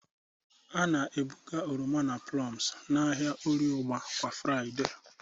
A na-ebuga oroma na plums n'ahịa Orie ugba kwa Fraịde.